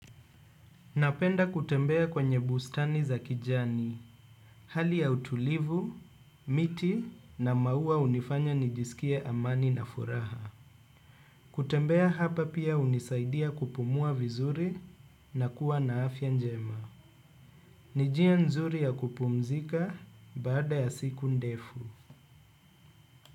Napenda kutembea kwenye bustani za kijani, hali ya utulivu, miti na maua hunifanya nijisikie amani na furaha. Kutembea hapa pia hunisaidia kupumua vizuri na kuwa na afya njema. Ni njia nzuri ya kupumzika baada ya siku ndefu.